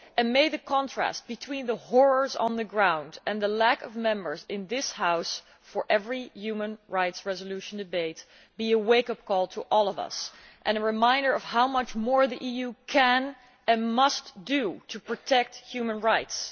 May the contrast between the horrors on the ground and the lack of Members in this House for every human rights resolution debate be a wake up call to all of us and a reminder of how much more the EU can and must do to protect human rights.